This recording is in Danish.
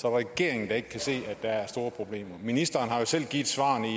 er regeringen der ikke kan se at der er store problemer ministeren har jo selv givet svarene i